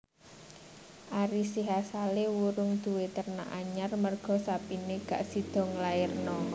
Ari Sihasale wurung duwe ternak anyar merga sapine gak sido ngelairno